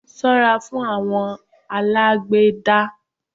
Ṣó ra fún àwọn alágbèédá